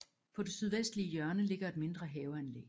På det sydvestlige hjørne ligger et mindre haveanlæg